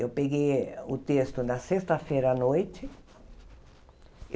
Eu peguei o texto na sexta-feira à noite.